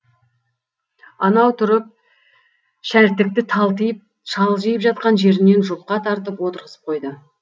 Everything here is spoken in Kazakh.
анау тұрып шәлтікті талтиып шалжиып жатқан жерінен жұлқа тартып отырғызып қойды